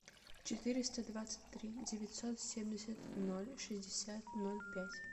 четыреста двадцать три девятьсот семьдесят ноль шестьдесят ноль пять